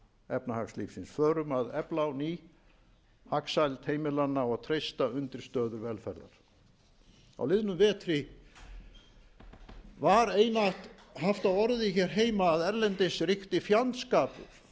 efnahagslífsins förum að efla á ný hagsæld heimilanna og treysta undirstöður velferðar á liðnum vetri var einatt haft á orði hér heima að erlendis ríkti fjandskapur